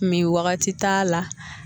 Min wagati t'a la